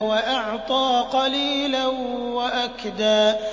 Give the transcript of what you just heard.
وَأَعْطَىٰ قَلِيلًا وَأَكْدَىٰ